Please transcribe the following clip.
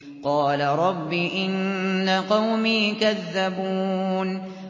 قَالَ رَبِّ إِنَّ قَوْمِي كَذَّبُونِ